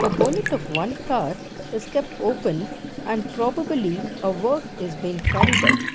of one car is kept opened and probably uh work is been carried out.